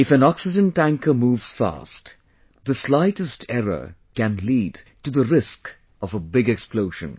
If an oxygen tanker moves fast, the slightest error can lead to the risk of a big explosion